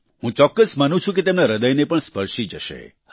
હું ચોક્કસ માનું છું કે તેમના હ્રદયને પણ સ્પર્શી જશે